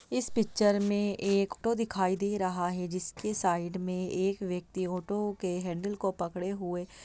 इस पिक्चर में एक ऑटो दिखाई दे रहा है जिसके साइड में एक व्यक्ति ऑटो के हैंडल को पकड़े हुए--